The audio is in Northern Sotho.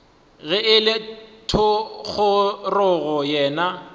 ge e le thogorogo yena